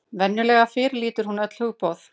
Venjulega fyrirlítur hann öll hugboð.